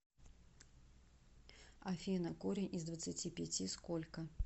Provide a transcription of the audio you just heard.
афина корень из двадцати пяти сколько